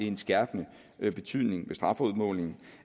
en skærpende betydning ved strafudmålingen